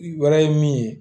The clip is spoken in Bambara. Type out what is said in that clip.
Wɛrɛ ye min ye